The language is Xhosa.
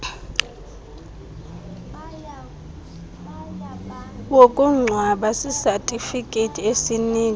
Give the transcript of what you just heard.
wokungcwaba sisatifiketi esinika